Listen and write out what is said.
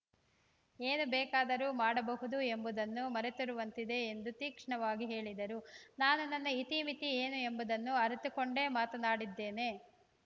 ಏನು ಬೇಕಾದರೂ ಮಾಡಬಹುದು ಎಂಬುದನ್ನು ಮರೆತಿರುವಂತಿದೆ ಎಂದು ತೀಕ್ಷ್ಣವಾಗಿ ಹೇಳಿದರು ನಾನು ನನ್ನ ಇತಿಮಿತಿ ಏನು ಎಂಬುದನ್ನು ಅರಿತುಕೊಂಡೇ ಮಾತನಾಡಿದ್ದೇನೆ